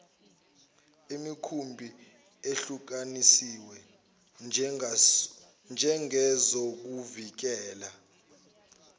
imikhumbi ehlukaniswe njengezokuvikela